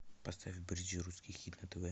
поставь бридж русский хит на тв